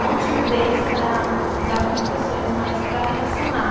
Não timidez para lidar com professores, mas para relacionar.